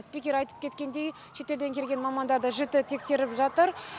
спикер айтып кеткендей шет елден келген мамандарды жіті тексеріп жатыр